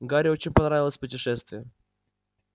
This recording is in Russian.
гарри очень понравилось путешествие